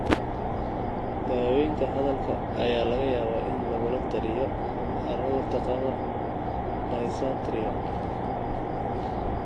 Daaweynta hadalka ayaa laga yaabaa in lagula taliyo carruurta qaba dysarthria.